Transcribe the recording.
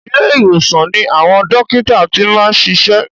Ilé ìwòsan ni àwọn dókítà ti máa ń ṣiṣẹ́.